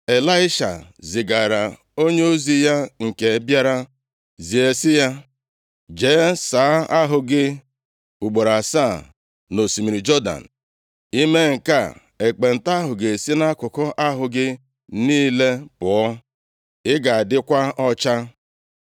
Ịlaisha zigara onyeozi ya nke bịara zie sị ya, “Jee saa ahụ gị ugboro asaa nʼosimiri Jọdan. I mee nke a, ekpenta ahụ ga-esi nʼakụkụ ahụ gị niile pụọ. Ị ga-adịkwa ọcha.”